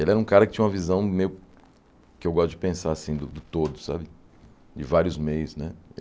Ele era um cara que tinha uma visão meio que eu gosto de pensar assim, do do todo sabe, de vários meios né.